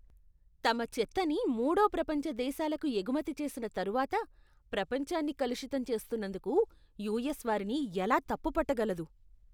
తమ చెత్తని మూడో ప్రపంచ దేశాలకు ఎగుమతి చేసిన తరువాత ప్రపంచాన్ని కలుషితం చేస్తున్నందుకు యూఎస్ వారిని ఎలా తప్పు పట్ట గలదు?